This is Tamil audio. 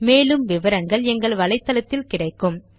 மேலும் விவரங்களுக்கு httpspoken tutorialorgNMEICT Intro